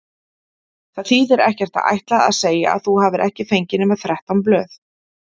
Það þýðir ekkert að ætla að segja að þú hafir ekki fengið nema þrettán blöð.